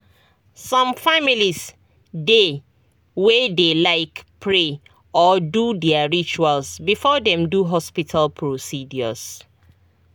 some families dey way dey like pray or do their rituals before them do hospital procedures